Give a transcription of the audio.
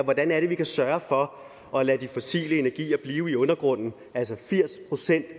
hvordan vi kan sørge for at lade de fossile energier blive i undergrunden altså firs procent af